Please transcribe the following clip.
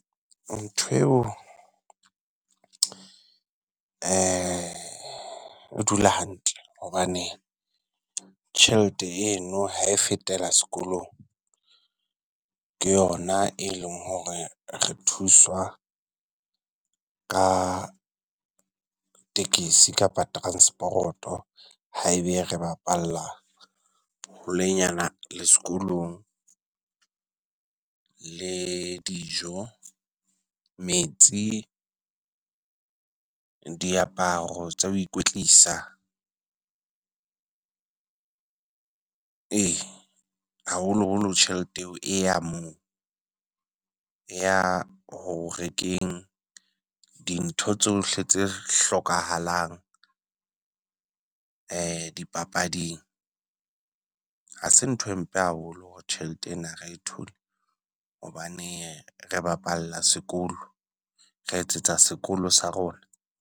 Ntho eo o dula hantle hobane tjhelete eno ha e fetela sekolong, ke yona e leng hore re thuswa ka tekesi kapa transporoto haebe re bapalla holenyana le sekolong le dijo, metsi, diaparo tsa ho ikwetlisa. Ee haholoholo tjhelete eo e ya moo e ya ho rekeng dintho tsohle tse hlokahalang dipapading, ha se nthwe mpe haholo hore tjhelete ena ha re e thole. Hobane re bapalla sekolo, re etsetsa sekolo sa rona.